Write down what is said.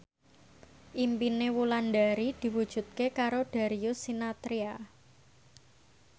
impine Wulandari diwujudke karo Darius Sinathrya